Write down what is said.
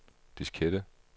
diskette